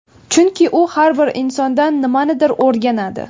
Chunki u har bir insondan nimanidir o‘rganadi.